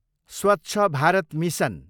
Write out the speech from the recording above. Swachh Bharat mission